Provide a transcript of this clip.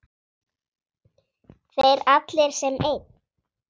Þeir allir sem einn?